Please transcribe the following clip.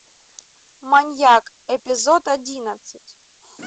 маньяк эпизод одиннадцать